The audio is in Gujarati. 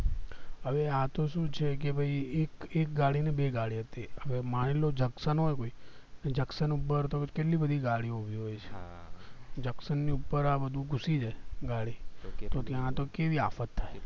હવે આ તો શું છે કે ભય એક ગાડી નય બે ગાડી હતી હવે માની લ્યો junction હોય કોઈ ભી તો junction ઉપર તો કેટલી બધી ગાડી હોય છે junction ઉપર આ બધું ઘુડી જાય ગાડી તો ત્યાં તો કેવી આફત થાય